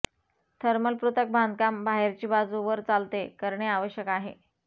thermal पृथक् बांधकाम बाहेरची बाजू वर चालते करणे आवश्यक आहे